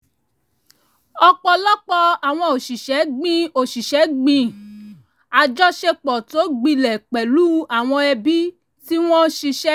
ọ̀pọ̀lọpọ̀ àwọn òṣìṣẹ́ gbin òṣìṣẹ́ gbin àjọṣepọ̀ tó gbilẹ̀ pẹ̀lú àwọn ẹbí tí wọ́n ṣiṣẹ́ sìn